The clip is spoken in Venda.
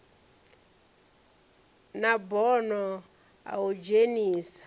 na bono a u dzhenisa